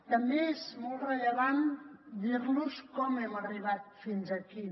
també és molt rellevant dir los com hem arribat fins aquí